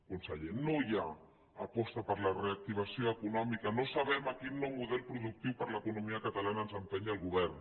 conseller no hi ha aposta per la reactivació econòmica no sabem a quin nou model productiu per a l’economia catalana ens empeny el govern